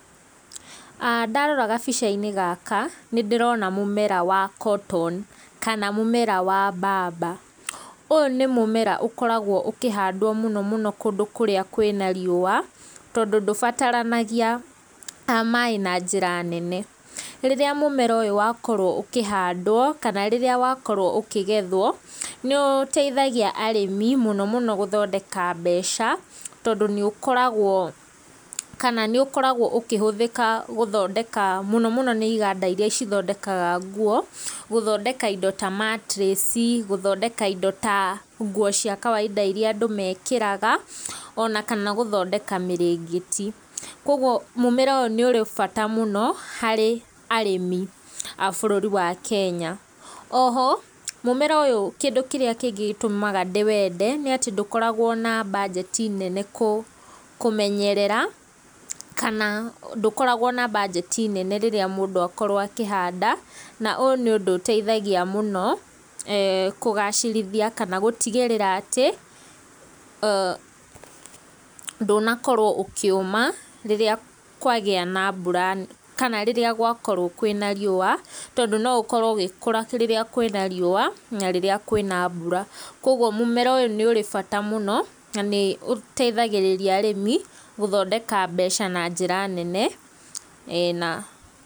Ndarora gabica-inĩ gaka, nĩndĩrona mũmera wa cotton kana mũmera wa mbamba, ũyũ nĩ mũmera ũkoragwo ũkĩhandwo mũno mũno kũndũ kũrĩa kwĩna riũa, tondũ ndũbataranagia maĩ na njĩra nene, rĩrĩa mũmera ũyũ wakorwo ũkĩhandwo, kana rĩrĩa wakorwo ũkĩgethwo, nĩũteithagia arĩmi mũno mũno gũthondeka mbeca, tondũ nĩ ũkoragwo kana nĩũkoragwo ũkĩhũthĩka gũthondeka mũno mũno nĩ iganda iria cithondekaga nguo, gũthondeka indo ta matress, gũthondeka indo ta nguo cia kawaida iria andũ mekĩraga, ona kana gũthondeka mĩrĩngĩti, koguo mũmera ũyũ nĩ ũrĩ bata mũno harĩ arĩmi a bũrũri wa Kenya. O ho, mũmera ũyũ kĩndũ kĩrĩa kĩngĩ gĩtũmaga ndĩwende, nĩ atĩ ndũkoragwo na mbanjeti nene kũmenyerera, kana ndũkoragwo na mbanjeti nene rĩrĩa mũndũ akorwo akĩhanda, na ũyũ nĩ ũndũ ũteithagia mũno, kũgacĩrithia kana gũtigĩrĩra atĩ ndũnakorwo ũkĩũma, rĩrĩa kwagia na mbura kana rĩrĩa gũkorwo kwĩna riũa, tondũ no ũkorwo ũgĩkũra rĩrĩa kwĩna riũa na rĩrĩa kwĩna mbura, koguo mũmera ũyũ nĩ ũrĩ bata mũno, na nĩ ũteithagĩrĩria arĩmi, gũthondeka mbeca na njĩra nene e na...